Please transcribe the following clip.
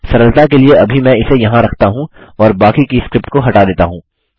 सरलता के लिए अभी मैं इसे यहाँ रखता हूँ और बाकी की स्क्रिप्ट को हटा देता हूँ